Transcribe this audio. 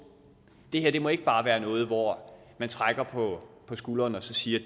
det her må ikke bare være noget hvor man trækker på skulderen og siger